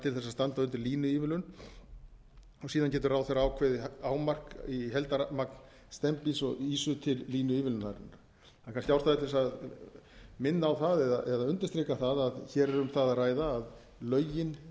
til þess að standa undir línuívilnun og síðan getur ráðherra ákveðið hámark í heildarmagn steinbíts og ýsu til línuívilnunarinnar það er kannski ástæða til þess að minna á það eða undirstrika það að hér er um það að ræða að lögin